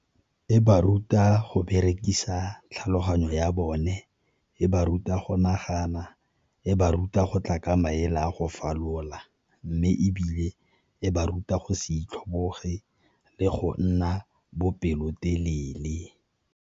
E ba ruta go berekisa tlhaloganyo ya bone, e ba ruta go nagana, e ba ruta go tla ka maele a go falola, mme ebile e ba ruta go se itlhoboge le go nna bopelotelele.